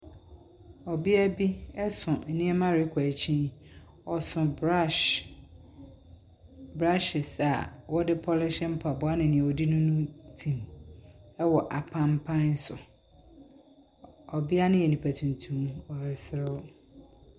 Ɔbea bi so nneɛma rekɔ akyin. Ɔso brush, brushes a wɔde pulish ne nea wɔde nunu tim wɔ apanpan so. Ɔbea no yɛ nipa tuntum. Ɔreserew.